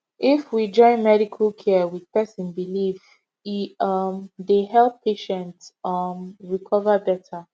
if we join medical care with person belief e um dey help patient um recover better